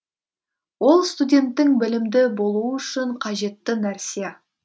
ол студенттің білімді болуы үшін қажетті нәрсе